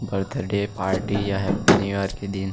birthday party या happy new year के दिन--